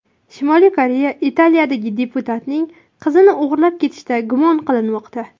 Shimoliy Koreya Italiyadagi diplomatining qizini o‘g‘irlab ketishda gumon qilinmoqda.